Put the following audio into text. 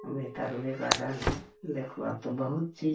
भीतर भी गार्डन है देखो अब तो बहुत चीज --